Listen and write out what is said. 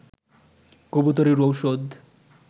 কবুতরের ঔষধ